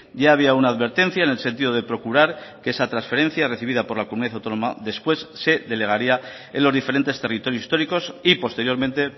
ya había una advertencia en el sentido de procurar que esa transferencia recibida por la comunidad autónoma después se delegaría en los diferentes territorios históricos y posteriormente